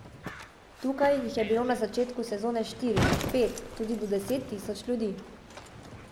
Tukaj jih je bilo na začetku sezone štiri, pet, tudi do deset tisoč ljudi.